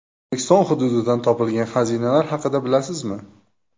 O‘zbekiston hududidan topilgan xazinalar haqida bilasizmi?.